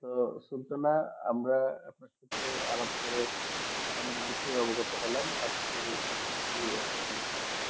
তো সেই জন্যে আমরা আলাপ করে অনেক বিশেষ অভিজ্ঞতা হলাম এখানেই সমম্পত